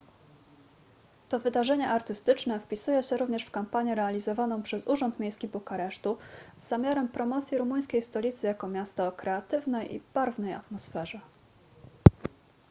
to wydarzenie artystyczne wpisuje się również w kampanię realizowaną przez urząd miejski bukaresztu z zamiarem promocji rumuńskiej stolicy jako miasta o kreatywnej i barwnej atmosferze